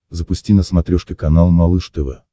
запусти на смотрешке канал малыш тв